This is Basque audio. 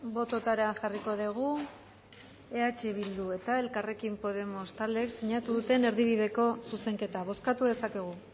bototara jarriko dugu eh bildu eta elkarrekin podemos taldeek sinatu duten erdibideko zuzenketa bozkatu dezakegu